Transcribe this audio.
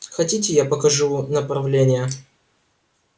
хотите я покажу направление